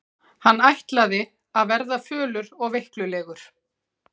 Hann ætlaði að verða fölur og veiklulegur.